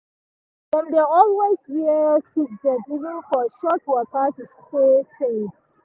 dem dey always wear seatbelt even for short waka to stay safe.